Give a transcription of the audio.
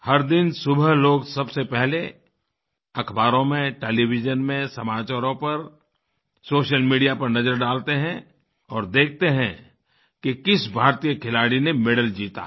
हर दिन सुबह लोग सबसे पहले अख़बारों में टेलीविजन में समाचारों पर सोशल मीडिया पर नज़र डालते हैं और देखते हैं कि किस भारतीय खिलाड़ी ने मेडल जीता है